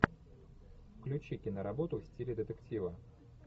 включи киноработу в стиле детектива